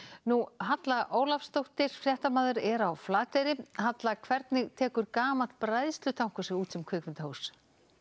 Halla Ólafsdóttir er á Flateyri Halla hvernig tekur gamall bræðslutankur sig út sem kvikmyndahús